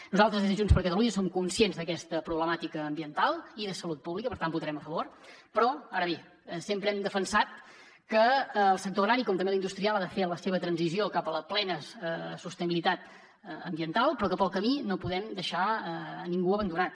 nosaltres des de junts per catalunya som conscients d’aquesta problemàtica ambiental i de salut pública i per tant hi votarem a favor ara bé sempre hem defensat que el sector agrari com també l’industrial ha de fer la seva transició cap a la plena sostenibilitat ambiental però que pel camí no podem deixar ningú abandonat